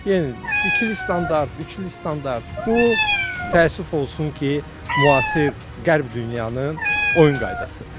Yenə ikili standart, üçlü standart, bu təəssüf olsun ki, müasir qərb dünyanı oyun qaydasıdır.